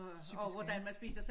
Typiske ik